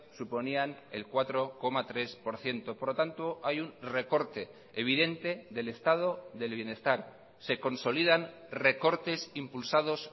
suponían el cuatro coma tres por ciento por lo tanto hay un recorte evidente del estado del bienestar se consolidan recortes impulsados